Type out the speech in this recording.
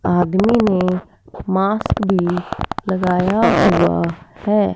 आदमी ने मास्क भी लगाया हुआ है।